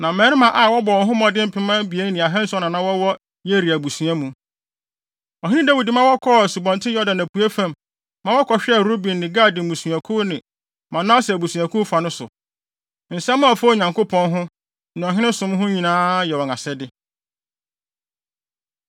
Na mmarima a wɔbɔ wɔn ho mmɔden mpem abien ne ahanson na na wɔwɔ Yeria abusua mu. Ɔhene Dawid ma wɔkɔɔ Asubɔnten Yordan apuei fam, maa wɔkɔhwɛɛ Ruben ne Gad mmusuakuw ne Manase abusuakuw fa no so. Nsɛm a ɛfa Onyankopɔn ho, ne ɔhene som ho nyinaa yɛ wɔn asɛde.)